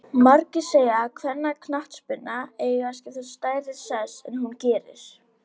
Margir segja að kvennaknattspyrna eigi að skipa stærri sess en hún gerir.